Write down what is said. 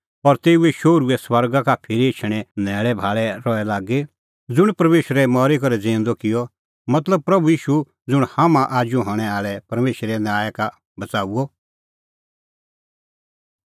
और तेऊए शोहरूए स्वर्गा का फिरी एछणें न्हैल़ैभाल़ै रहे लागी ज़ुंण परमेशरै मरी करै ज़िऊंदअ किअ मतलब प्रभू ईशू ज़ुंण हाम्हां आजू हणैं आल़ै परमेशरे न्याय का बच़ाऊआ